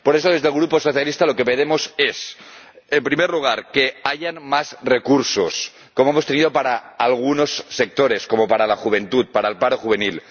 Por eso, desde el Grupo socialista, lo que pedimos es, en primer lugar, que haya más recursos, como hemos tenido para algunos sectores, como para la juventud, para el paro juvenil